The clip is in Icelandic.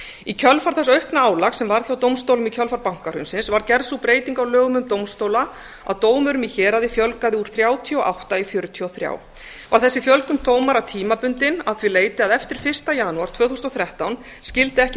í kjölfar þessa aukna álags sem varð hjá dómstólum í kjölfar bankahrunsins var gerð sú breyting á lögum um dómstóla að dómurum í héraði fjölgaði úr þrjátíu og átta í fjörutíu og þrjá var þessi fjölgun dómara tímabundin að því leyti að eftir fyrsta janúar tvö þúsund og þrettán skyldi ekki